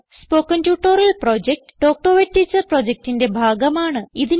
spoken tutorial project talk to a teacher പ്രൊജക്റ്റിന്റെ ഭാഗമാണ്